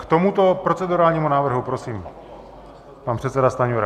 K tomuto procedurálnímu návrhu, prosím, pan předseda Stanjura.